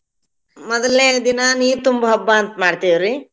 ಮೊದಲ್ನೇ ದಿನಾ ನೀರ್ ತುಂಬೋ ಹಬ್ಬ ಅಂತ್ ಮಾಡ್ತಿವ್ರಿ.